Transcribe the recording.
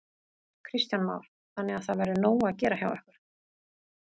Kristján Már: Þannig að það verður nóg að gera hjá ykkur?